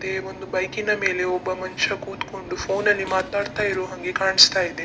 ಮತ್ತೆ ಒಂದು ಬೈಕ್ ನ ಮೇಲೆ ಒಬ್ಬ ಮನುಷ್ಯ ಕೂತುಕೊಂಡು ಫೋನ್ ನಲ್ಲಿ ಮಾತಾಡ್ತಾ ಇರೋ ಹಂಗೆ ಕಾಣಿಸ್ತಾ ಇದೆ.